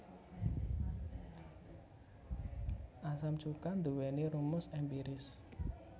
Asam cuka nduwèni rumus èmpiris